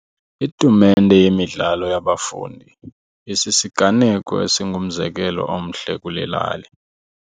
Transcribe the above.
Itumente yemidlalo yabafundi isisiganeko esingumzekelo omhle kule lali.